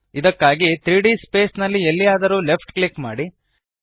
ಇದಕ್ಕಾಗಿ 3ದ್ ಸ್ಪೇಸ್ ನಲ್ಲಿ ಎಲ್ಲಿಯಾದರೂ ಲೆಫ್ಟ್ ಕ್ಲಿಕ್ ಮಾಡಿ